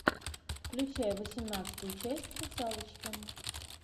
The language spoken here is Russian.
включай восемнадцатую часть русалочки